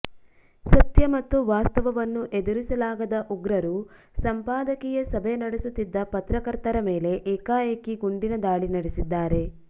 ಸತ್ಯ ಮತ್ತು ವಾಸ್ತವವನ್ನು ಎದುರಿಸಲಾಗದ ಉಗ್ರರು ಸಂಪಾದಕೀಯ ಸಭೆ ನಡೆಸುತ್ತಿದ್ದ ಪತ್ರಕರ್ತರ ಮೇಲೆ ಏಕಾಏಕಿ ಗುಂಡಿನ ದಾಳಿ ನಡೆಸಿದ್ದಾರೆ